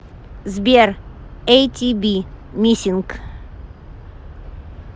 сбер эйтиби миссинг